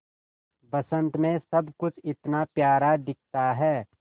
बसंत मे सब कुछ इतना प्यारा दिखता है